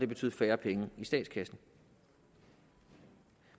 betyde færre penge i statskassen